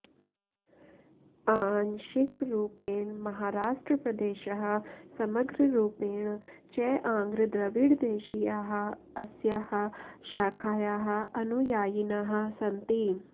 अांशिकरूपेण महाराष्ट्रप्रदेशः समग्ररूपेण च आन्घ्रद्रविडदेशीयाः अस्याः शाखायाः अनुयायिनः सन्ति